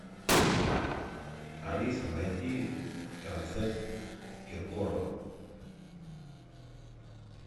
алиса найди концерт киркорова